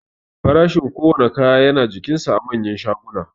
Farashin kowanne kaya yana jikinsa a manyan shaguna